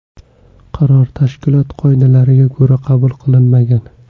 Qaror, tashkilot qoidalariga ko‘ra qabul qilinmagan.